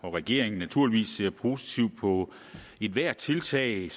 og regeringen naturligvis ser positivt på ethvert tiltag